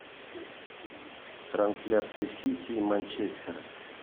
трансляция сити и манчестера